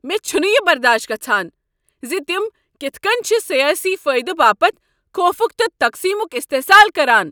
مےٚ چھنہٕ یہ برداش گژھان ز تم کتھہٕ کٔنۍ چھ سیٲسی فٲیدٕ باپتھ خوفک تہٕ تقسیٖمک استحصال کران۔